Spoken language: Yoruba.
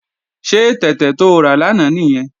Ṣé tẹ̀tẹ̀ to rà lánàá nìyẹn?